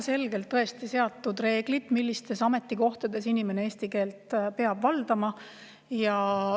Meil on seatud väga selged reeglid, millistel ametikohtadel inimene eesti keelt peab valdama.